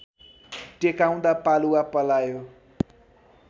टेकाउँदा पालुवा पलायो